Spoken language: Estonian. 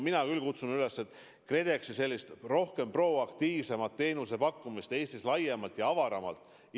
Mina küll kutsun KredExit üles rohkem proaktiivselt teenuseid pakkuma Eestis laiemalt ja avaramalt.